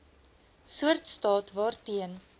soort staat waarteen